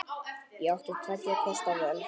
Ég átti tveggja kosta völ.